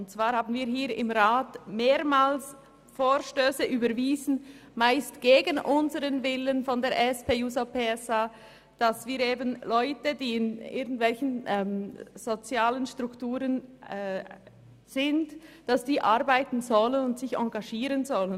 Hier, im Grossem Rat, haben wir mehrmals Vorstösse überwiesen – meist gegen den Willen unserer Fraktion –, wonach Leute in irgendwelchen sozialen Strukturen arbeiten und sich engagieren sollen.